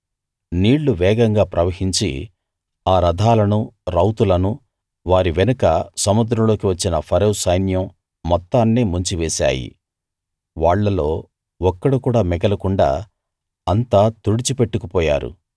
నీళ్లు వేగంగా ప్రవహించి ఆ రథాలను రౌతులను వారి వెనుక సముద్రంలోకి వచ్చిన ఫరో సైన్యం మొత్తాన్నీ ముంచివేశాయి వాళ్ళలో ఒక్కడు కూడా మిగలకుండా అంతా తుడిచిపెట్టుకు పోయారు